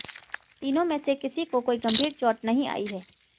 तीनों में से किसी को कोई गंभीर चोट नहीं आई है